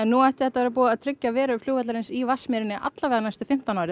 nú ætti þetta að tryggja veru flugvallarins í Vatnsmýri næstu fimmtán árin